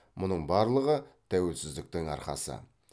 мұның барлығы тәуелсіздіктің арқасы